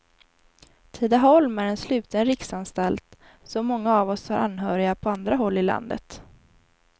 Tidaholm är en sluten riksanstalt, så många av oss har anhöriga på andra håll i landet.